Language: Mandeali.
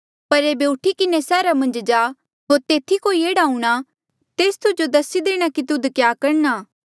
पर एेबे उठी किन्हें सैहरा मन्झ जा होर तेथी कोई एह्ड़ा हूंणा तेस तुजो दसी देणा तुध क्या करणा